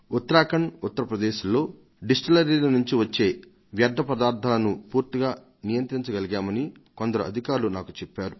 ఉత్తరాఖండ్ ఉత్తర ప్రదేశ్లలో డిస్టిల్లరీల నుంచి వచ్చే వ్యర్థ పదార్థాలను పూర్తిగా నియంత్రించగలిగామని కొందరు అధికారులు నాకు చెప్పారు